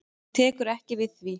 Hún tekur ekki við því.